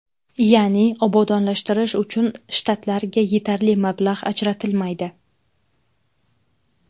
Ya’ni obodonlashtirish uchun shtatlarga yetarli mablag‘ ajratilmaydi.